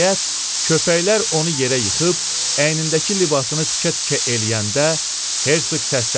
Nəhayət, köpəklər onu yerə yıxıb, əynindəki libasını tikə-tikə eləyəndə Hersq səsləndi.